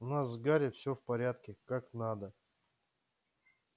у нас с гарри всё в порядке как надо